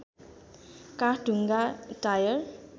काठ ढुङ्गा टायल